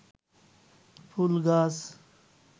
ফুল গাছ